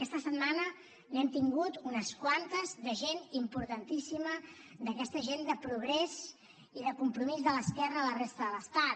aquesta setmana n’hem tingut unes quantes de gent importantíssima d’aquesta gent de progrés i de compromís de l’esquerra a la resta de l’estat